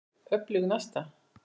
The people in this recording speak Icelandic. Er í tafli öflug næsta.